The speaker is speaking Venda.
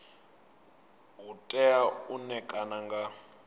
u tea u ṋekana nga